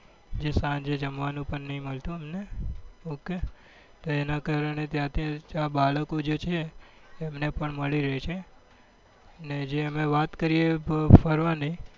જે સાંજે જમવા નું પણ નહી મળતું એમને ok તો એના કારણે ત્યાં જે બાળકો છે એમને પણ મળી રેસે ને જે હવે વાત કરીએ ફરવા ની